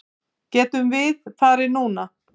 Getum við farið núna?